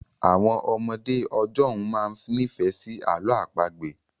Àwọn ọmọdé ọjọ́ ún máa ń nifẹ si àlọ àpagbẹ̀